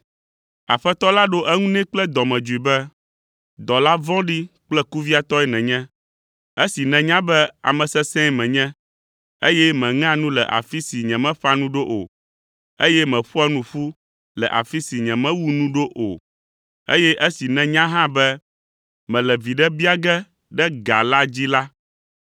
“Aƒetɔ la ɖo eŋu nɛ kple dɔmedzoe be, ‘Dɔla vɔ̃ɖi kple kuviatɔe nènye; esi nènya be ame sesẽe menye, eye meŋea nu le afi si nyemeƒã nu ɖo o, eye meƒoa nu ƒu le afi si nyemewu nu ɖo o, eye esi nènya hã be mele viɖe bia ge ɖe ga la dzi la,